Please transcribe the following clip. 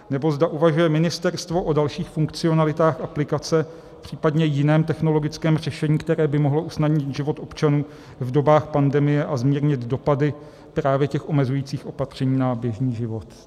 , nebo zda uvažuje ministerstvo o dalších funkcionalitách aplikace, případně jiném technologickém řešení, které by mohlo usnadnit život občanům v dobách pandemie a zmírnit dopady právě těch omezujících opatření na běžný život.